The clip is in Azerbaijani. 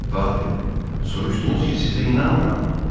Padri, soruşdunuz ki, sizə inanmırammı?